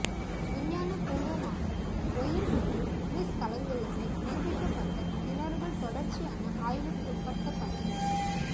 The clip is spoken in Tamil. விஞ்ஞான பூர்வமாக ஒயில் மற்றும் கிறிஸ் கலந்துள்ளமை நிரூபிக்கப்பட்ட கிணறுகள் தொடர்ச்சியான ஆய்விற்குட்படுத்தப்பட வேண்டும்